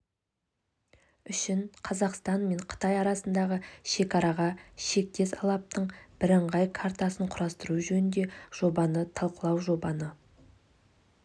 үшін қазақстан мен қытай арасындағы шекараға шектес алаптың бірыңғай картасын құрастыру жөніндегі жобаны талқылау жобаны